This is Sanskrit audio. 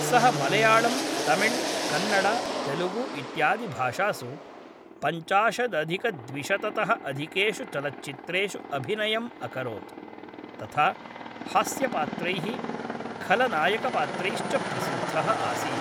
सः मलयाळम्, तमिळ्, कन्नड, तेलुगु इत्यादिभाषासु पञ्चाशदधिकद्विशततः अधिकेषु चलच्चित्रेषु अभिनयम् अकरोत्, तथा हास्यपात्रैः खलनायकपात्रैश्च प्रसिद्धः आसीत्।